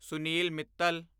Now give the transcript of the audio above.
Sunil Mittal